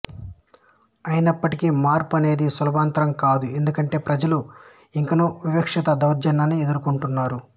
అయినప్పటికీ మార్పు అనేది సులభతరంకాదు ఎందుకంటే ప్రజలు ఇంకనూ వివక్షత దౌర్జన్యాన్ని ఎదుర్కుంటున్నారు